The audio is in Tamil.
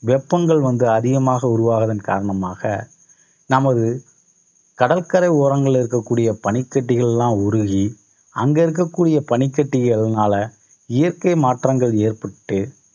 வெப்பங்கள் வந்து அதிகமாக உருவாவதன் காரணமாக நமது, கடற்கரை ஓரங்களில் இருக்கக்கூடிய பனிக்கட்டிகள் எல்லாம் உருகி அங்க இருக்கக்கூடிய பனிக்கட்டிகள்னால இயற்கை மாற்றங்கள் ஏற்பட்டு